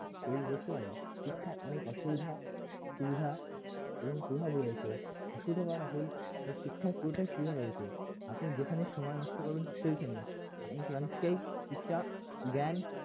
তৈরি করতে পারে শিক্ষা অনেক অসুবিধা সুবিধা এবং প্রভাব রয়েছে অসুবিধা বলাটা ভুল শিক্ষার পুরোটায় সুবিধা রয়েছে আপনি যেখানে সময় নষ্ট করবেন সেইখানে আপনি সেখান থেকেই কিছুটা জ্ঞান